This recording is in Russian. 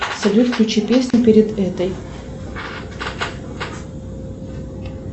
салют включи песню перед этой